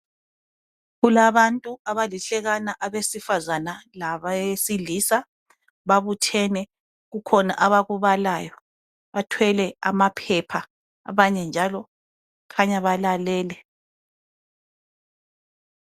Kulabantu abalihlekana abesifazane labesilia babuthene, kukhanya kukhona abakubalayo .Bathwele amaphepha ,abanye njalo kukhanya balalele.